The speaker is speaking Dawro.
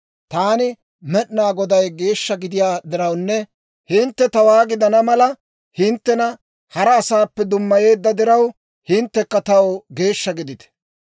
Taani Med'inaa Goday geeshsha gidiyaa dirawunne hintte tawaa gidana mala hinttena hara asaappe dummayeedda diraw, hinttekka taw geeshsha gidite.